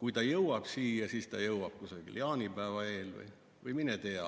kui ta jõuab siia, siis ta jõuab kusagil jaanipäeva eel või mine tea.